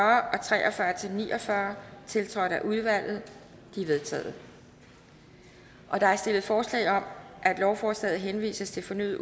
til ni og fyrre tiltrådt af udvalget de er vedtaget der er stillet forslag om at lovforslaget henvises til fornyet